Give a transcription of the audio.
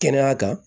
Kɛnɛya kan